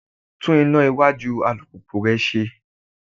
Tún iná iwájú alùpùpù rẹ ṣe.